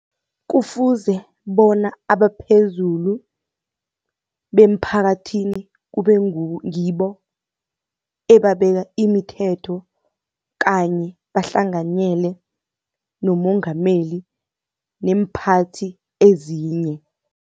Kufuze bona abaphezulu bemphakathini kube ngibo ebabeka imithetho kanye bahlanganyele nomongameli neemphathi ezinye.